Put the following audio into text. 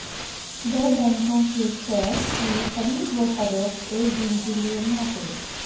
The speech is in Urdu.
دو بینکوں کے شیئرز کی خرید و فروخت ایک دن کے لیے معطل